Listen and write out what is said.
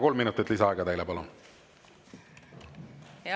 Kolm minutit lisaaega, palun!